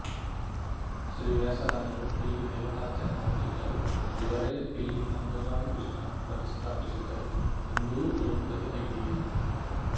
ಶ್ರೀ ವ್ಯಾಸರಾಯರು ಇಲ್ಲಿ ದೇವತಾರ್ಚನೆ ಮಾಡುತ್ತಿದ್ದರು ಇವರೇ ಇಲ್ಲಿ ಅಂಬೆಗಾಲು ಕೃಷ್ಣನನ್ನು ಪ್ರತಿಷ್ಠಾಪಿಸಿದರು ಎಂದೂ ಹೇಳುತ್ತದೆ ಐತಿಹ್ಯ